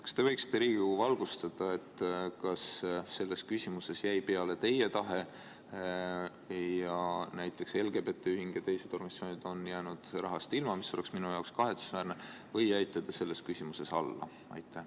Kas te võiksite Riigikogu valgustada, kas selles küsimuses jäi peale teie tahe ning näiteks LGBT ühing ja teised organisatsioonid on rahast ilma jäänud, mis oleks minu arvates kahetsusväärne, või jäite te selles küsimuses alla?